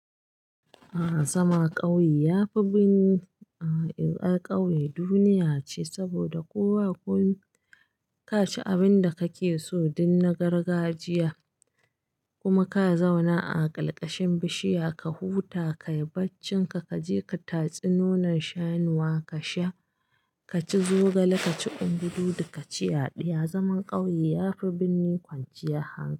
A'a zaman ƙauye yafi binni, a ƙauye duniya ce saboda koba komi ka ci abin da kake so, duk na gargajiya kuma ka zauna a ƙarƙashin bishiya ka huta, ka yi barcinka, ka je ka tatsi nonon shanuwa ka sha, ka ci zogale, ka ci ungududu ka ci yaɗiya. Zaman ƙauye yafi binni kwanciyar hankali.